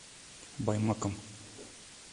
баймаком